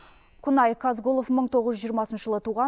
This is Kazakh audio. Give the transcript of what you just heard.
кунай казгулов мың тоғыз жүз жиырмасыншы жылы туған